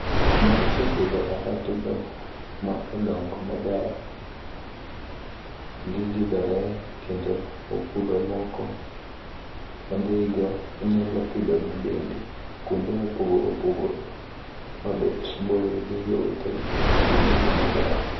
Bang' isepidho alotgo, maodongo maber gigidhore kendo opudho moko odhigo onyalo pidhogi bende kuonde mopogore opogore mabet boyo gi jowetegi mondo gidong maber.